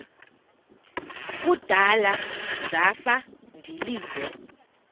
kudala zafa ndilinde